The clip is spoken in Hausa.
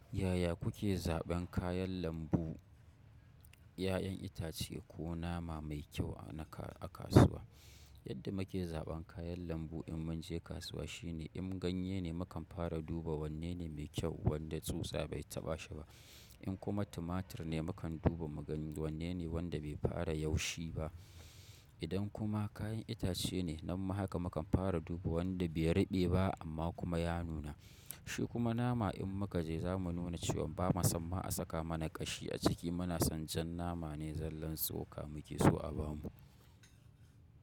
Yaya kuke zaɓen kayan lambu, 'ya'yan itace ko nama mai kyau a kasuwa? Yadda muke zaɓan kayan lambu in mun je kasuwa shine in ganye ne mukan fara duba wanne ne mai kyau wanda tsutsa bai taɓa shi ba. In kuma tumatur ne mukan duba mu ga wanne ne wanda bai fara yaushe ba. Idan kuma kayan itace ne nanma haka mukan fara duba wanda bai ruɓe ba amma kuma ya nuna. Shi kuma nama in muka je zamu nuna cewan bamu samma a saka mana kashi a ciki muna son jan nama ne zallan tsoka muke so a bamu.